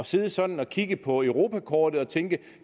sidde sådan at kigge på europakortet og tænke